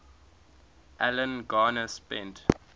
alan garner spent